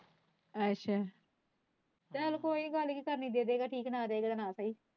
ਅੱਛਾ ਚੱਲ ਕੋਈ ਗੱਲ ਨਹੀਂ ਜੇ ਸ਼ਾਮੀ ਦੇ ਗਏ ਤਾਂ ਠੀਕ ਹੈ ਜੇ ਨਾ ਦੇਵੇ ਤਾਂ ਨਾ ਸਹੀ।